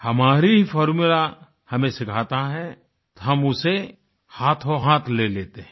हमारा ही फॉर्मुला हमें सिखाता है तो हम उसे हाथोंहाथ ले लेते हैं